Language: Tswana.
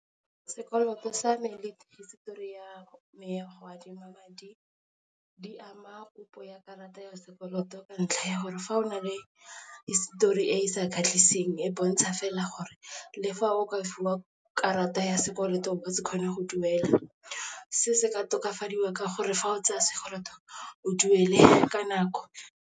Sekoloto sa me le hisetori ya me ya go adima madi di ama kopo ya karata ya sekoloto ka ntlha ya gore fa o na le hisitori e e sa kgatlhising e bontsha fela gore le fa o ka fiwa karata ya sekoloto o ka se kgone go duela, se se ka tokafadiwa ka gore fa o tsaya sekoloto o duele ka nako.